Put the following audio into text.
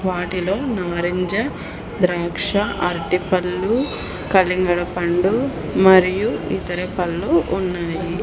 వాటిలో నారింజ ద్రాక్ష అరటిపళ్ళు కలిందరపండు మరియు ఇతర పళ్ళు ఉన్నాయి.